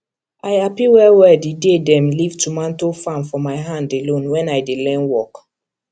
i happy well well the day dem leave tomato farm for my hand alone when i dey learn work